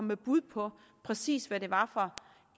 med bud på præcis hvad det var for